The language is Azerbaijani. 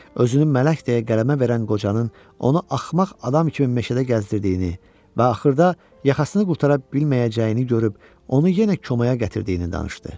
Özünün mələk deyə qələmə verən qocanın onu axmaq adam kimi meşədə gəzdirdiyini və axırda yaxasını qurtara bilməyəcəyini görüb onu yenə komaya gətirdiyini danışdı.